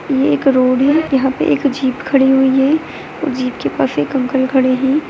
ये एक रोड है यहा पे एक जीप खड़ी हुवी है जीप के पास एक अंकल खड़े है।